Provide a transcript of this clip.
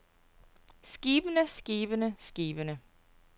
skibene skibene skibene